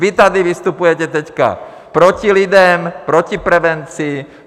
Vy tady vystupujete teď proti lidem, proti prevenci.